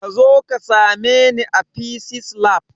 Kazo ka same ni a fisis lab